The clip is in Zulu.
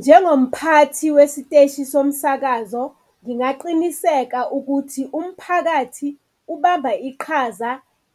Njengomphathi wesiteshi somsakazo ngingaqiniseka ukuthi umphakathi ubamba iqhaza